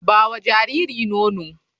Ba wa jariri nono.